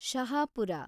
Shahapur